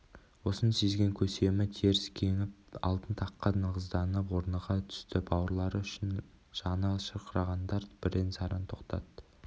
осыны сезген көсемі теріс кеңіп алтын таққа нығызданып орныға түсті бауырлары үшін жаны шырқырағандар бірен-саран тоқтат